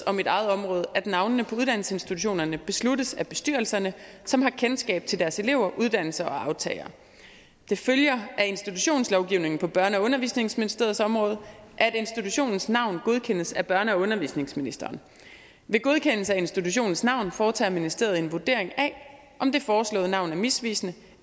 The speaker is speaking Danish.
og mit eget område at navnene på uddannelsesinstitutionerne besluttes af bestyrelserne som har kendskab til deres elever uddannelser og aftagere det følger af institutionslovgivningen på børne og undervisningsministeriets område at institutionens navn godkendes af børne og undervisningsministeren ved godkendelse af institutionens navn foretager ministeriet en vurdering af om det foreslåede navn er misvisende